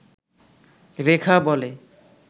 রেখা বলে